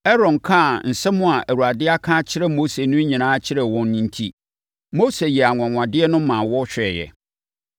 Aaron kaa nsɛm a Awurade aka akyerɛ Mose no nyinaa kyerɛɛ wɔn enti, Mose yɛɛ anwanwadeɛ no ma wɔhwɛeɛ.